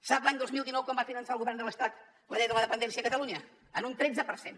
sap l’any dos mil dinou com va finançar el govern de l’estat la llei de la dependència a catalunya en un tretze per cent